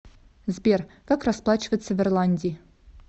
сбер как расплачиваться в ирландии